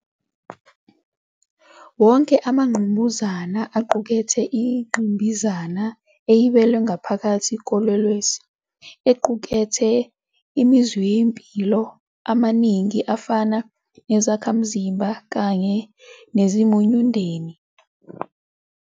Wonke amangqamuzana aqukethe ingqimbazana ebiyelwe ngaphakathi kolwelwesi, equkethe imizwayimpilo amaningi afana nezakhamzimba kanye nezimunyundeni.